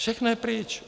Všechno je pryč.